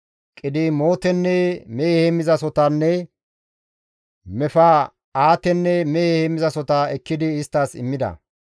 Qidimootenne mehe heemmizasohotanne Mefa7aatenne mehe heemmizasohota ekkidi isttas immida.